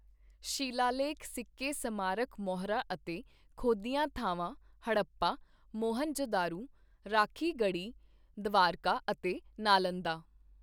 ਸ਼ਿਲਾਲੇਖ ਸਿੱਕੇ ਸਮਾਰਕ ਮੋਹਰਾਂ ਅਤੇ ਖੋਦੀਆਂ ਥਾਵਾਂ ਹੜੱਪਾ, ਮੋਹਨਜੋਂਦੜੋ, ਰਾਖੀਗੜ੍ਹੀ, ਦਵਾਰਕਾ ਅਤੇ ਨਾਲੰਦਾ।